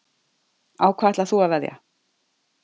Á hvað ætlar þú að veðja?